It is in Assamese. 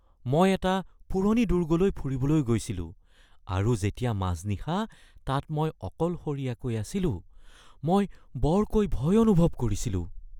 মই এটা পুৰণি দুৰ্গলৈ ফুৰিবলৈ গৈছিলোঁ আৰু যেতিয়া মাজনিশা তাত মই অকলশৰীয়াকৈ আছিলো, মই বৰকৈ ভয় অনুভৱ কৰিছিলোঁ।